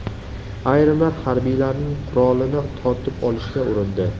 Ayrimlar harbiylarning qurolini tortib olishga urindi.